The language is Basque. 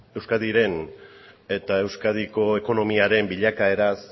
euskadiren eta euskadiko ekonomiaren bilakaeraz